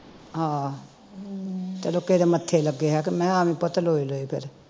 ਹਾਂ ਚਲੋ ਕਿਹੇ ਦੇ ਮੱਥੇ ਲੱਗੇ ਹਾਂ ਕਿ ਮੈਂ ਆਵੀਂ ਪੁੱਤ ਲੋਏ ਲੋਏ ਫਿਰ